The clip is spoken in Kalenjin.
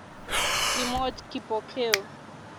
Kimwoch Kipokeo